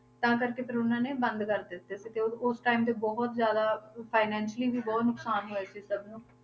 ਤਾਂ ਕਰਕੇ ਫਿਰ ਉਹਨਾਂ ਨੇ ਬੰਦ ਕਰ ਦਿੱਤੇ ਸੀ ਤੇ ਉਹ ਉਸ school ਤੇ ਬਹੁਤ ਜ਼ਿਆਦਾ financially ਵੀ ਬਹੁਤ ਨੁਕਸਾਨ ਹੋਇਆ ਸੀ ਸਭ ਨੂੰ